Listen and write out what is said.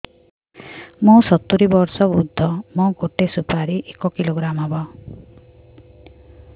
ମୁଁ ସତୂରୀ ବର୍ଷ ବୃଦ୍ଧ ମୋ ଗୋଟେ ସୁପାରି ଏକ କିଲୋଗ୍ରାମ ହେବ